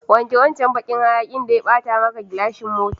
Wanke wancan bakin hayakin da ya bata maka gilashin mota.